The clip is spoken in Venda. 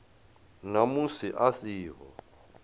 na musi a si ho